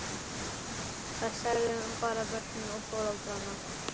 Það særði bara börnin og foreldrana.